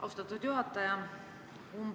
Austatud juhataja!